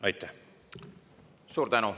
Aitäh!